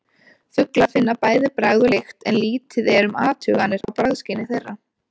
Fuglar finna bæði bragð og lykt en lítið er um athuganir á bragðskyni þeirra.